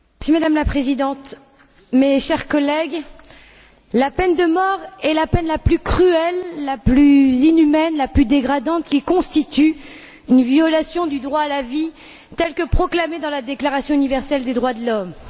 Madame la Présidente, mes chers collègues, la peine de mort est la peine la plus cruelle, la plus inhumaine, la plus dégradante, qui constitue une violation du droit à la vie, tel que proclamé dans la Déclaration universelle des droits de l'homme.